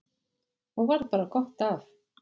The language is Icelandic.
Og varð bara gott af.